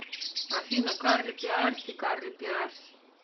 афина карли пиарси карли пиарси